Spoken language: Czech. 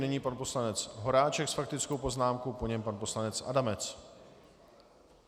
Nyní pan poslanec Horáček s faktickou poznámkou, po něm pan poslanec Adamec.